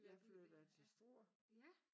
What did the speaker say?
Jeg flytter til Struer